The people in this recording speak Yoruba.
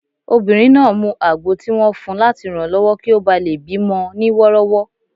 Obìnrin náà mu àgbo tí wọ́n fun láti ranlọwọ kí ó bá lè bí mọ ní wọ́rọ́wọ́